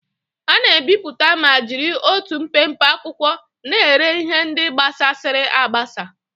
A na-ebipụta ma jiri otu mpempe akwụkwọ na-ere ihe ndị gbasasịrị agbasa.